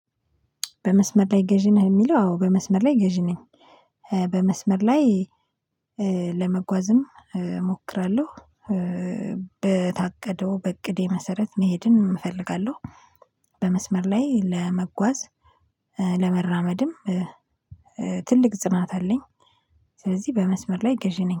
በመስመር ላይ ገዢ ነህ? የሚለው አዎ በመስመር ላይ ገዢ ነኝ። በመስመር ላይ ለመጓዝም እሞክራለሁ። በታቀደው በእቅዴ መሰረት መሄድን እፈልጋለሁ። በመስመር ላይ ለመጓዝ ለመራመድም ትልቅ ጽናት አለኝ። ስለዚህ በመስመር ላይ ገዢ ነኝ።